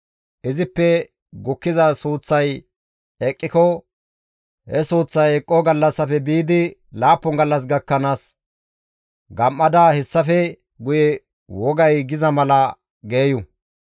«Izippe gukkiza suuththay eqqiko he suuththay eqqoo gallassafe biidi laappun gallas gakkanaas gam7ada hessafe guye wogay giza mala geeyu.